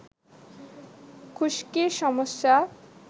খুশকির সমস্যা